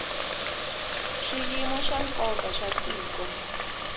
swiyimo swa nkoka swa tiko